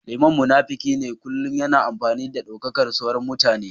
Liman munafiki ne a kullum yana amfani da daukakar sauran mutane